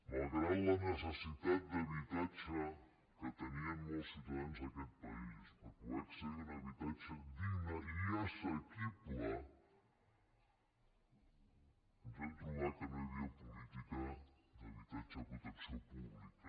malgrat la necessitat d’habitatge que tenien molts ciutadans d’aquest país per poder acce·dir a un habitatge digne i assequible ens vam trobar que no hi havia política d’habitatge de protecció pú·blica